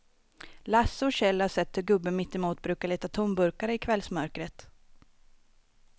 Lasse och Kjell har sett hur gubben mittemot brukar leta tomburkar i kvällsmörkret.